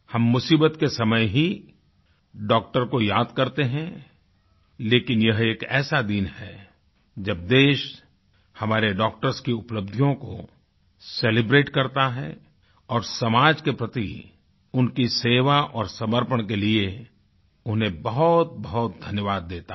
हम मुसीबत के समय ही डॉक्टर को याद करते हैं लेकिन यह एक ऐसा दिन है जब देश हमारे डॉक्टर्स की उपलब्धियों को सेलिब्रेट करता है और समाज के प्रति उनकी सेवा और समर्पण के लिए उन्हें बहुतबहुत धन्यवाद देता है